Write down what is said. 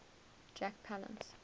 jack palance